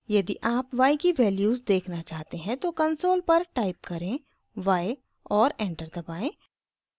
यदि आप y की वैल्यूज़ देखना चाहते हैं तो कंसोल पर टाइप करें y और एंटर दबाएं